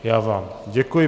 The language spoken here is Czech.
Já vám děkuji.